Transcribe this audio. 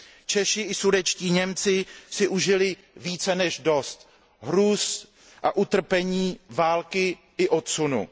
Češi i sudetští Němci si užili více než dost hrůz a utrpení války i odsunu.